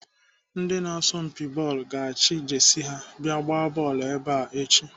Ndị na-asọmpi bọọlụ ga-achị Jesi ha abịa agba bọọlụ ebe a echi.